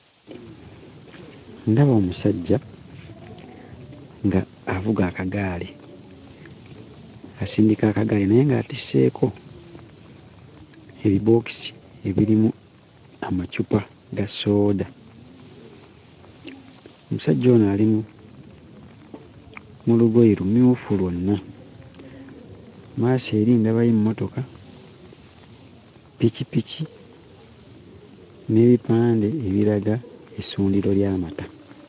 Ndaba omusajja ng'avuga akagaali. Asindika akagaali naye ng'atisseeko ebibookisi ebirimu amacupa ga sooda. Omusajja ono ali mu lugoye lumyufu lwonna. Mmaaso eri ndabayo emmotoka, ppikipiki n'ebipande ebiraga essundiro ly'amata.